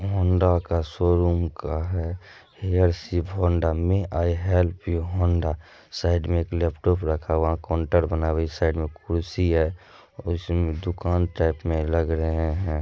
Honda का showroom का है हेयर शिव हौंडा में I help you Honda side में एक लैपटॉप रखा हुआ है काउंटर बना हुआ है इ साइड में कुर्सी है और उस दुकान टाइप में लग रहे है।